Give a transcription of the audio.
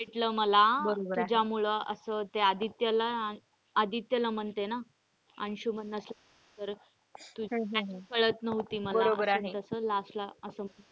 भेटलं मला तुझ्यामुळे असं त्या आदित्य ला आदित्य ला म्हणते ना अंशुमन ला करत कळत नव्हती मला असं न तस last ला असं.